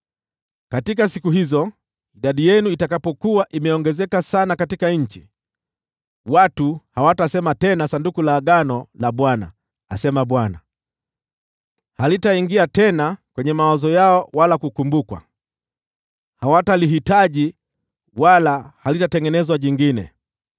Katika siku hizo, idadi yenu itakapokuwa imeongezeka sana katika nchi, watu hawatasema tena, ‘Sanduku la Agano la Bwana ,’” asema Bwana . “Halitaingia tena kwenye mawazo yao wala kukumbukwa, hawatalihitaji wala halitatengenezwa jingine.